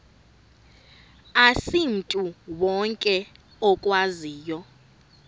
asimntu wonke okwaziyo